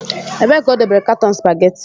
Ebee ka o dobere katọn supageti?